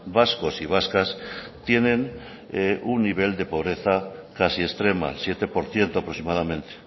vascos y vascas tienen un nivel de pobreza casi extrema siete por ciento aproximadamente